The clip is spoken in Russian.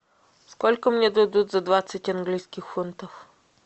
сколько мне дадут за двадцать английских фунтов